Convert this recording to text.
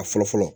A fɔlɔ fɔlɔ